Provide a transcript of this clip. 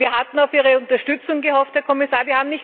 Wir hatten auf Ihre Unterstützung gehofft, Herr Kommissar.